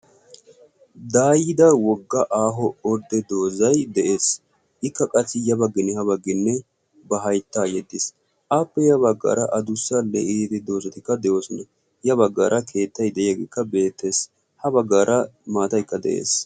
daayida wogga aaho ordde doozay de'ees ikka qasi ya baggine ha bagginne ba hayttaa yedetiis appe ya baggaara adussa le''iidi doozatikka de'oosona ya baggaara keettay de'iyaageekka beettees ha baggaara maataykka de'ees